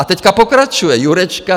A teď pokračuje Jurečka.